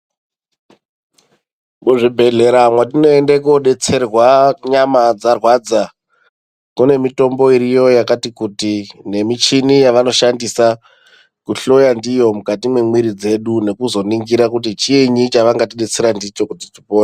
Muzvibhedhlera mwetinoende kodetserwa kana nyama dzarwadza kune mitombo iriyo yakati kuti nemichini yavanoshandisa kuhloya ndiyo mukati memwiri dzedu nekuzoningira kuti chiinyi chavangatidetsera ndicho kuti tipore.